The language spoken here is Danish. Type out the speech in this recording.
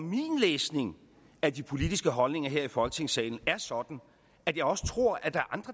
min læsning af de politiske holdninger her i folketingssalen er sådan at jeg også tror at der